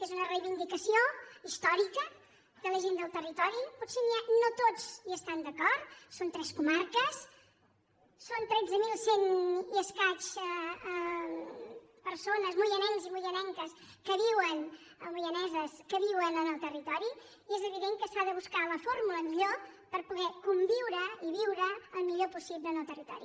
és una reivindicació històrica de la gent del territori potser no tots hi estan d’acord són tres comarques són tretze mil cent i escaig persones moianesos i moianeses que viuen al territori i és evident que s’ha de buscar la fórmula millor per poder conviure i viure el millor possible en el territori